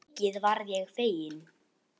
Mikið varð ég feginn.